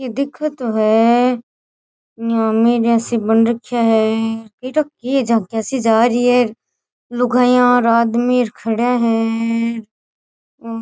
दिखे तो है बन रखया है काई ठा के झांकी सी जा री है लुगाईया और आदमी खड्या है और --